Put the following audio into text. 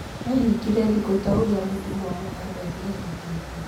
Ehingire thikũ ta ũrĩa mũtũmwo Mohammed ehingĩte.